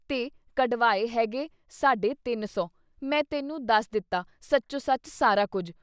ਤੇ ਕਢਵਾਏ ਹੈ ਗੇ ਸਾਢੇ ਤਿੰਨ ਸੌ…. ਮੈਂ ਤੈਨੂੰ ਦੱਸ ਦਿੱਤਾ ਸੱਚੋ ਸੱਚ ਸਾਰਾ ਕੁਛ।